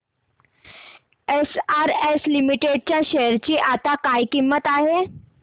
SRS limited च्या share ची आता काय किंमत आहे